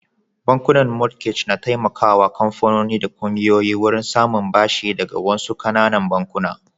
Bankunan mortgage na taimakawa kamfanoni da kungiyoyi wurin samun bashi daga wasu ƙananan bankuna.